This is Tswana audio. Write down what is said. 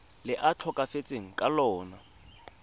le a tlhokafetseng ka lona